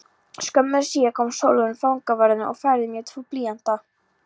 Skömmu síðar kom Sólrún fangavörður og færði mér tvo blýanta.